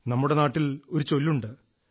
നമ്മുടെ നാട്ടിലൊരു ചൊല്ലുണ്ട്